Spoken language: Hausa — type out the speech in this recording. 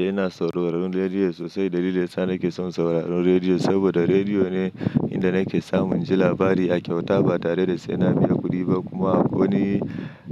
Eh, ina sauraron rediyo sosai. Dalilin sa nake son sauraron rediyo, saboda rediyo ne inda nake samun jin labari a kyauta ba tare da sai na biya kuɗi ba. Kuma akwai wani,